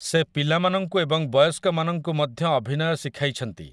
ସେ ପିଲାମାନଙ୍କୁ ଏବଂ ବୟସ୍କମାନଙ୍କୁ ମଧ୍ୟ ଅଭିନୟ ଶିଖାଇଛନ୍ତି ।